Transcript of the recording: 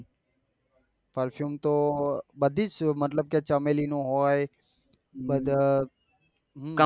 Perfume તો બધી જ મતલબ કે ચમેલી નો હોય.